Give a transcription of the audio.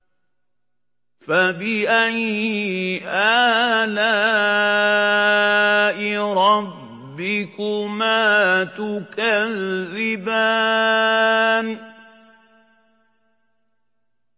فَبِأَيِّ آلَاءِ رَبِّكُمَا تُكَذِّبَانِ